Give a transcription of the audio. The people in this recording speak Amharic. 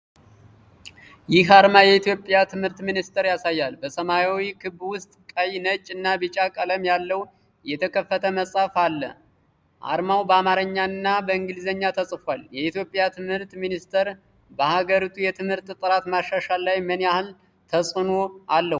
ይህ አርማ የኢትዮጵያ "የትምህርት ሚኒስቴር" ያሳያል። በሰማያዊ ክብ ውስጥ፣ ቀይ፣ ነጭ እና ቢጫ ቀለም ያለው የተከፈተ መጽሐፍ አለ። አርማው በአማርኛ እና በእንግሊዝኛ ተጽፏል። የኢትዮጵያ ትምህርት ሚኒስቴር በሀገሪቱ የትምህርት ጥራት ማሻሻል ላይ ምን ያህል ተጽእኖ አለው?